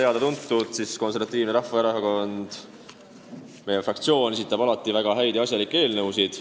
Nagu juba teada, siis Konservatiivne Rahvaerakond, meie fraktsioon esitab alati väga häid ja asjalikke eelnõusid.